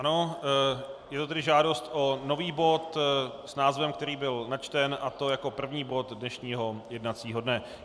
Ano, je to tedy žádost o nový bod s názvem, který byl načten, a to jako první bod dnešního jednacího dne.